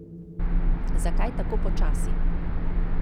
Zakaj tako počasi?